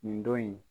Nin don in